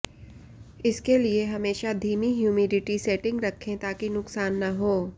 इसके लिए हमेशा धीमी ह्यूमिडिटी सेटिंग रखें ताकि नुकसान न हो